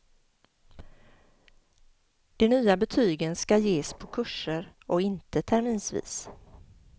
De nya betygen skall ges på kurser och inte terminsvis.